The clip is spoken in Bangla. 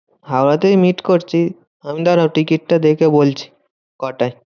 হাওড়াতেই meet করছি। দাড়াও টিকিটটা দেখে বলছি, কটায়?